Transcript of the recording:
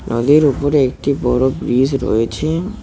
নদীর উপরে একটি বড় ব্রিজ রয়েছে।